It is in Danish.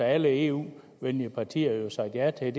alle eu venlige partier sagt ja til